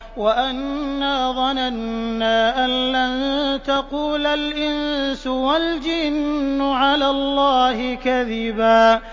وَأَنَّا ظَنَنَّا أَن لَّن تَقُولَ الْإِنسُ وَالْجِنُّ عَلَى اللَّهِ كَذِبًا